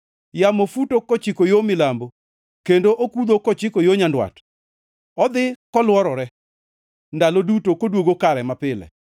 Yamo futo kochiko yo milambo kendo okudho kochiko yo nyandwat; odhi kolworore, ndalo duto koduogo kare mapile.